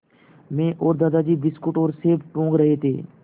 मैं और दादाजी बिस्कुट और सेब टूँग रहे थे